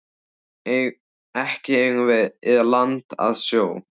Ekki eigum við land að sjó.